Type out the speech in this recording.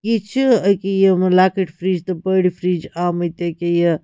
. آمٕتۍ أکیا یہِ تہٕ بٔڑۍ فِرِج یہِ چھ أکیا یِم لۄکٔٹۍ فِرِج